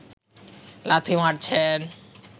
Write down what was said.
লাথি মারছেন